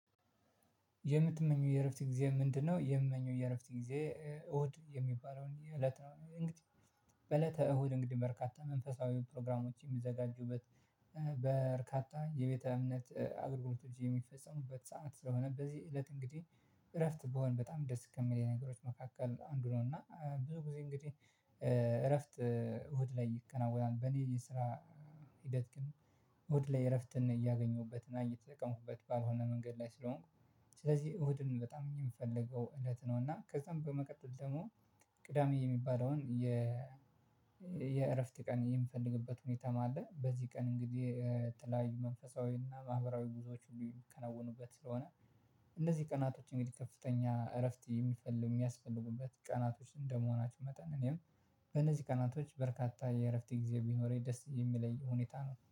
የምትመኘው የእረፍት ጊዜ ምንድነው? የምመኘው የእረፍት ጊዜ እሁድ የሚባለው እንዲህ እለት ነው። እንግዲህ በእለተ እሁድ እንግዲህ በርካታ መንፈሳዊ ፕሮግራሞችን የሚዘጋጁበት በርካታ የቤተ እምነት አገልግሎቶች የሚፈጸሙበት ሰዓት ስለሆነ በዚህ እለት እንግዲህ እረፍት ብሆን በጣም ደስ የሚለኝ ነገሮች መካከል አንዱ ነው። እና ብዙ ጊዜ እንግዲህ እረፍት እሁድ ላይ ይከናወናል በእኔ የስራ ሂደት ግን እሁድ ላይ እረፍትን እያገኘሁበትና እየተጠቀምኩበት ባልሆነ መንገድ ላይ ስለሆንኩ ስለዚህ እሁድን በጣም እኛ የምፈልገው እለት ነው። እና ከዛም በመቀጠል ደግሞ ቅዳሜ የሚባለውን የ የእረፍት ቀን የምፈልግበት ሁኔታ ማለት በዚህ ቀን እንግዲህ የተለያዩ መንፈሳዊና ማህበራዊ ጉዞዎች ሁሉ የሚከናወኑበት ስለሆነ እነዚህ ቀናቶች እንግዲህ ከፍተኛ እረፍት የሚፈልጉ የሚያስፈልጉበት ቀናቶች እንደመሆናችሁ መጠን እኔም በእነዚህ ቀናቶች በርካታ የእረፍት ጊዜ ቢኖረኝ ደስ የሚለኝ ሁኔታ ነው